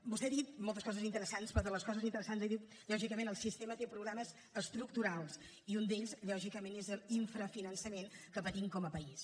vostè ha dit moltes coses interessants però de les coses interessants que diu lògicament el sistema té problemes estructurals i un d’ells lògicament és l’infrafinançament que patim com a país